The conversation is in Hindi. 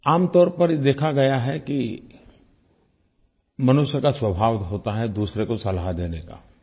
आमतौर पर यह देखा गया है कि मनुष्य का स्वभाव होता है दूसरे को सलाह देने का